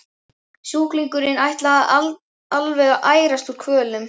Sjúklingurinn ætlaði alveg að ærast úr kvölum.